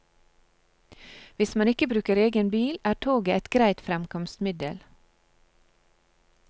Hvis man ikke bruker egen bil, er toget et greit fremkomstmiddel.